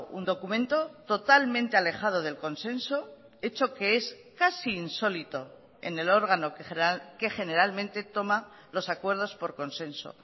un documento totalmente alejado del consenso hecho que es casi insólito en el órgano que generalmente toma los acuerdos por consenso